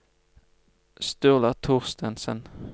Sturla Thorstensen